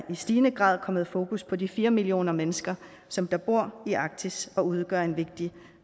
stigende grad er kommet fokus på de fire millioner mennesker som bor i arktis og udgør en vigtig